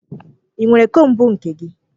Ị nwere kombu nke gị?